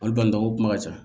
Olu balila ko kuma ka ca